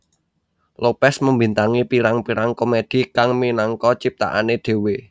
Lopez membintangi pirang pirang komedi kang minangka ciptaane dhewe